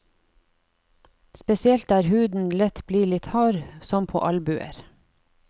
Spesielt der huden lett blir litt hard, som på albuer.